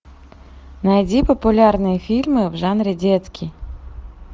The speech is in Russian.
найди популярные фильмы в жанре детский